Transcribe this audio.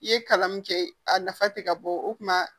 I ye kalan min kɛ a nafa tɛ ka bɔ o tuma